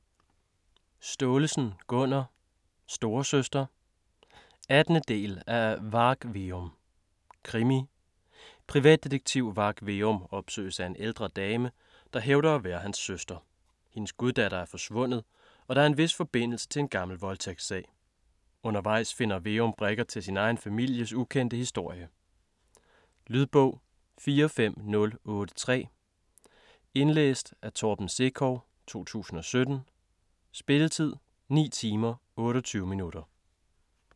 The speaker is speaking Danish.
Staalesen, Gunnar: Storesøster 18. del af Varg Veum. Krimi. Privatdetektiv Varg Veum opsøges af en ældre dame, der hævder at være hans søster. Hendes guddatter er forsvundet, og der er en vis forbindelse til en gammel voldtægtssag. Undervejs finder Veum brikker til sin egen families ukendte historie. Lydbog 45083 Indlæst af Torben Sekov, 2017. Spilletid: 9 timer, 28 minutter.